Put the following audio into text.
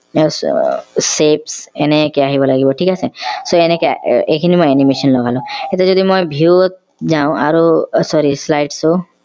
আহ shape এনেকে আহিব লাগিব ঠিক আছে so এনেকে এইখিনি মই animation লগালো এতিয়া যদি মই view ত যাওঁ আৰু sorry slides